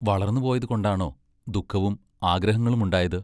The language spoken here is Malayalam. വളർന്നു പോയതുകൊണ്ടാണോ ദുഃഖവും ആഗ്രഹങ്ങളുമുണ്ടായത്.?